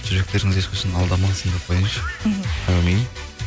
жүректеріңіз ешқашан алдамасын деп қояйыншы мхм әумин